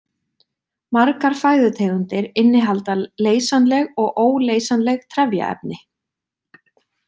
Margar fæðutegundir innihalda leysanleg og óleysanleg trefjaefni.